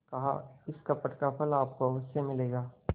कहाइस कपट का फल आपको अवश्य मिलेगा